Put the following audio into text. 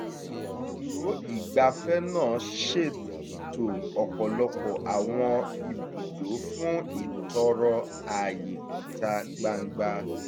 ibùdó ìgbafẹ́ náà ṣètò ọ̀pọ̀lọpọ̀ àwọn ibùdó fún ìtọrọ àyè ìta gbangba